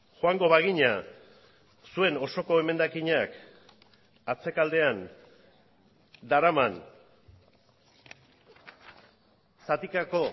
joango bagina zuen osoko emendakinak atzekaldean daraman zatikako